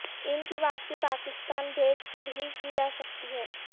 ان کی واپسی پاکستان بھیج کر ہی کی جا سکتی ہے